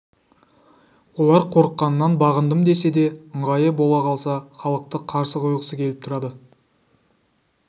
олар қорыққанынан бағындымдесе де ыңғайы бола қалса халықты қарсы қойғысы келіп тұрады